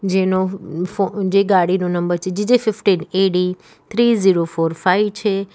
જેનો ફો જે ગાડીનો નંબર છે GJ fifteen AD three zero four five છે.